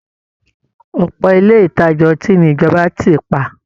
Ọ̀pọ̀ ilé ìtajà ọtí ni ìjọba tì pa